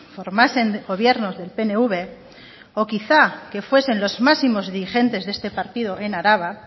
formasen gobiernos del pnv o quizá que fuesen los máximos dirigentes de este partido en araba